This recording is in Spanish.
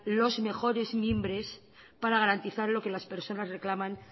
los mejores mimbres para garantizar lo que las personas reclaman